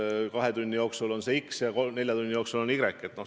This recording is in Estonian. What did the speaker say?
Näiteks et kahe tunni jooksul x korda ja nelja tunni jooksul y korda?